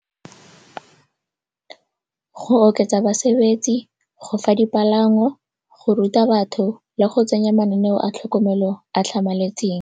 Go oketsa basebetsi, go fa dipalangwa, go ruta batho le go tsenya mananeo a tlhokomelo a tlhamaletseng.